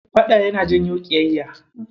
Faɗa yana janyo ƙiyayya.